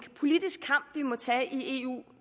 politisk kamp vi må tage i eu